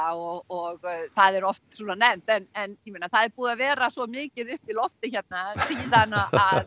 og og það er oft svona nefnt en en ég meina það er búið að vera svo mikið upp í loftið hérna síðan að